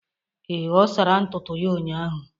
Ee, ọ sara ntutu ya ụnyahụ.